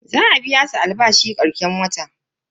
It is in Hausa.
Za a biya su albashi karshen wata.